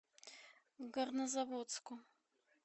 горнозаводску